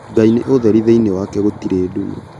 Ngai nĩ ũtheri thĩinĩ wake gũtirĩ nduma.